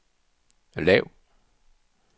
lav